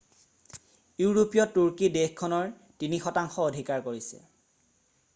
ইউৰোপীয় তুৰ্কী বালকান দ্বীপৰ পূৱৰ থ্ৰেছ অথবা ৰোমালিয়া দেশখনৰ 3% অধিকাৰ কৰিছে।